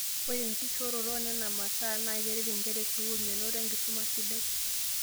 Ore enkishooroto oo nena masaa na keret nkera e sukuul menoto enkisuma sidia